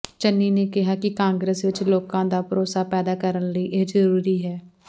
ਚੰਨੀ ਨੇ ਕਿਹਾ ਕਿ ਕਾਂਗਰਸ ਵਿਚ ਲੋਕਾਂ ਦਾ ਭਰੋਸਾ ਪੈਦਾ ਕਰਨ ਲਈ ਇਹ ਜ਼ਰੂਰੀ ਹੈ